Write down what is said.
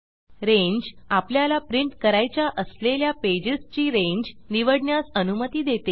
range आपल्याला print करायच्या असलेल्या पेजेस ची रेंज निवडण्यास अनुमती देते